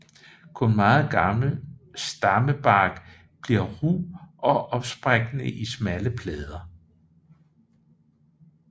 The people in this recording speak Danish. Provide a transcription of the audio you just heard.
Kun meget gammel stammebark bliver ru og opsprækkende i smalle plader